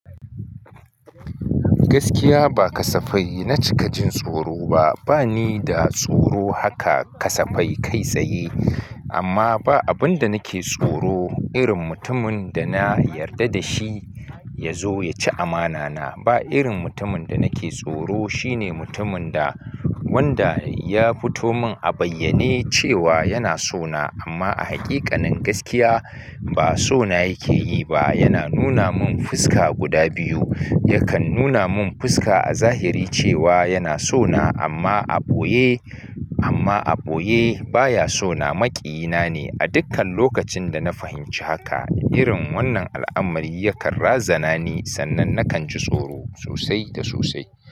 Gaskiya ba kasafai na cika jin tsoro ba. Ba ni da tsoro haka kasafai kai tsaye, amma ba abin da nake tsoro irin mutumin da na yarda da shi ya zo ya ci amana na. Ba irin mutumin da nake tsoro shine mutumin da wanda ya fito man a bayyane cewa yana so na amma a haƙiƙanin gaskiya ba so na yake yi ba. Yana nuna mun fuska guda biyu. Yakan nuna mun fuska a zahiri cewa yana so na amma a ɓoye, amma a ɓoye baya so na. Maƙiyina ne. A dukkan lokacin da na fahimci haka, irin wannan al'amari yakan razana ni sannan nakan ji tsoro sosai da sosai.